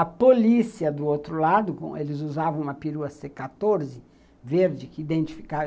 A polícia do outro lado, eles usavam uma perua cê quatorze, verde, que identificava.